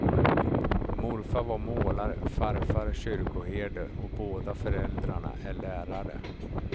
Morfar var målare, farfar kyrkoherde och båda föräldrarna är lärare.